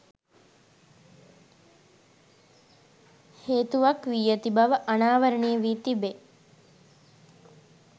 හේතුවක් වී ඇති බව අනාවරණය වී තිබේ